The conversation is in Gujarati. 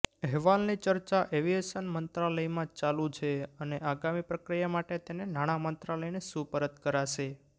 અહેવાલની ચર્ચા એવિએશન મંત્રાલયમાં ચાલુ છે અને આગામી પ્રક્રિયા માટે તેને નાણામંત્રાલયને સુપરત કરાશે